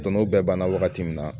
Don n'o bɛɛ banna wagati min na